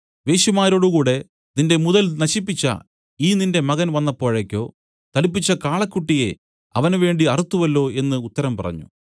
വേശ്യമാരോടുകൂടി നിന്റെ മുതൽ നശിപ്പിച്ച ഈ നിന്റെ മകൻ വന്നപ്പോഴേക്കോ തടിപ്പിച്ച കാളക്കുട്ടിയെ അവനുവേണ്ടി അറുത്തുവല്ലോ എന്നു ഉത്തരം പറഞ്ഞു